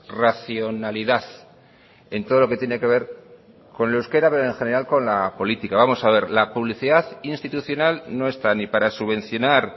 racionalidad en todo lo que tiene que ver con el euskera pero en general con la política vamos a ver la publicidad institucional no está ni para subvencionar